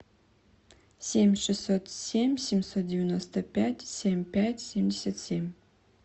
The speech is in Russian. семь шестьсот семь семьсот девяносто пять семь пять семьдесят семь